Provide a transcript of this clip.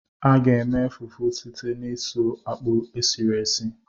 A ga-eme fufu site n'isu akpụ esiri esi.